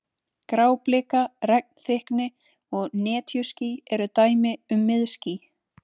Gráblika, regnþykkni og netjuský eru dæmi um miðský.